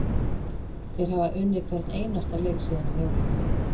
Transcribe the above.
Þeir hafa unnið hvern einasta leik síðan um jólin.